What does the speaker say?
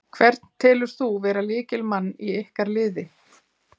Hvern telur þú vera lykilmann í ykkar liði?